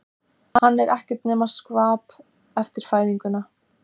Hann er ekkert nema skvap eftir fæðinguna.